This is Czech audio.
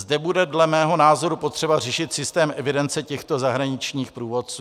Zde bude dle mého názoru potřeba řešit systém evidence těchto zahraničních průvodců.